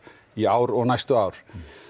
í ár og áfram næstu ár